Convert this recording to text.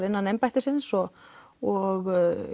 innan embættisins og og